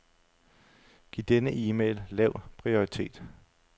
Giv denne e-mail lav prioritet.